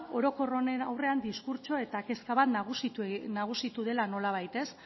orokor honen aurrean diskurtso eta kezka bat nagusitu dela nolabait ez